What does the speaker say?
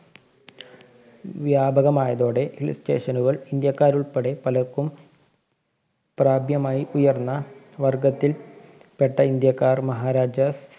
വ്യാപകമായതോടെ Hill station കള്‍ ഇന്ത്യക്കാരുള്‍പ്പെടെ പലര്‍ക്കും പ്രാപ്യമായി ഉയര്‍ന്ന വര്‍ഗ്ഗത്തില്‍ പെട്ട ഇന്ത്യക്കാര്‍ മഹാരാജാസ്